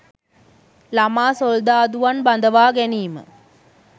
ළමා සොල්දාදුවන් බඳවාගැනීම